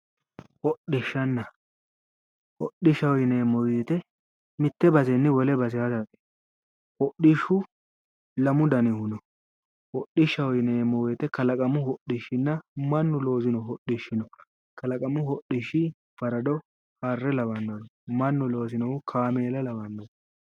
Hodhishsha. Hodhishshaho yineemmo woyite mitte basenni wole base harate. Hodhishshu lamu danihu no. Kalamu hodhishshinna Mannu loosino hodhishshi no. Kalaqamu hodhishshi farado harre lawanno. Mannu loosinohu kaameela lawanno.